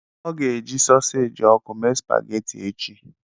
Ọ ga-eji sụsaji ọkụ mee spaghetti echi.